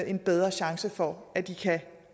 en bedre chance for at de kan